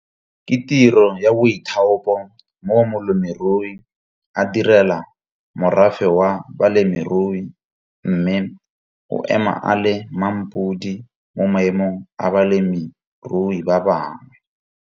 Ke tiro ya BOITHAOPO mo molemirui a DIRELA morafe wa balemirui mme o ema a le MMAMPODI mo maemong a balemirui ba bangwe.